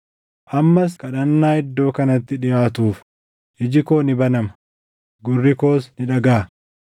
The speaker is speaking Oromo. Ammas kadhannaa iddoo kanatti dhiʼaatuuf iji koo ni banama; gurri koos ni dhagaʼa.